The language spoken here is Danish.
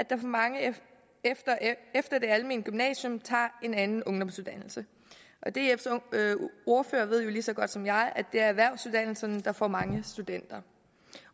mange efter det almene gymnasium tager en anden ungdomsuddannelse dfs ordfører ved jo lige så godt som jeg at det er erhvervsuddannelserne der får mange studenter